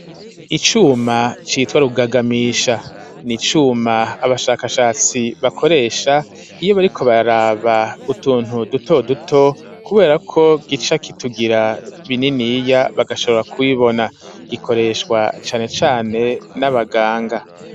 Icuma citwa rugagamisha ni icuma abashakashatsi bakoresha iyo bari ko baraba utuntu duto duto, kubera ko gica kitugira bininiya bagashobora kwibona gikoreshwa canecane n'abaganga.